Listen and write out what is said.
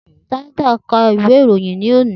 Tinder ka ìwé ìròyìn lónìí